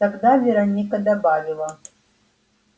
тогда вероника добавила